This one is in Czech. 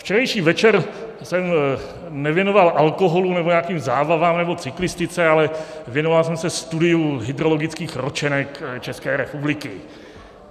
Včerejší večer jsem nevěnoval alkoholu nebo nějakým zábavám nebo cyklistice, ale věnoval jsem se studiu hydrologických ročenek České republiky.